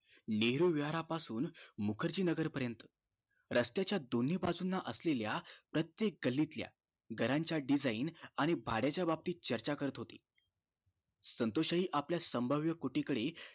लेरो वाया पासुन मुखर्जी नगर पर्यंत रस्त्याच्या दोन्ही बाजूना असलेल्या प्रत्येक गल्लीतल्या घराच्या design आणि भाड्याच्या बाबतीत चर्चा करत होते संतोष हि आपल्या संभाव्य कुटीकडे